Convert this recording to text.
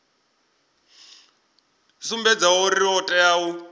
sumbedzaho uri o tea u